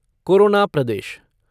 corona Pradesh